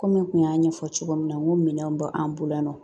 Komi n tun y'a ɲɛfɔ cogo min na n ko minɛnw bɛ an bolo yan nɔ